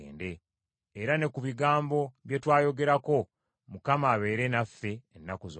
Era ne ku bigambo bye twayogerako, Mukama abeere naffe ennaku zonna.”